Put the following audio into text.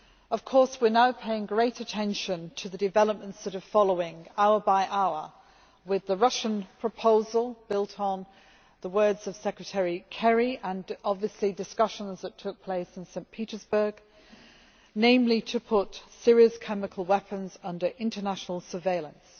Of course we are now paying great attention to the developments that are following, hour by hour, with the Russian proposal built on the words of Secretary Kerry and obviously discussions that took place in St Petersburg, namely to put Syria's chemical weapons under international surveillance.